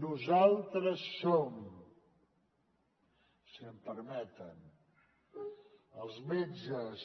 nosaltres som si m’ho permeten els metges